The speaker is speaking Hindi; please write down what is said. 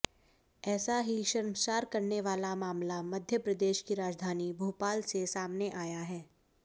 ऐसा ही शर्मसार करने वाला मामला मध्यप्रदेश की राजधानी भोपाल से सामने आया है